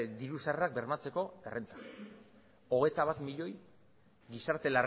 diru sarrerak bermatzeko errenta hogeita bat milioi gizarte